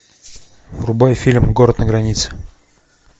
врубай фильм город на границе